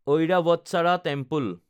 Airavatesvara temple